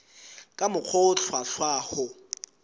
ka mokgwa o hlwahlwa ho